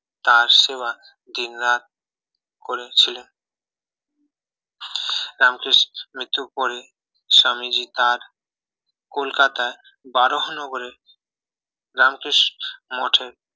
তার সেবা দিনরাত করেছিলেন রামকৃষ্ণের মৃত্যুর পরে স্বামীজি তার কলকাতার বরানগরে রামকৃষ্ণ মঠে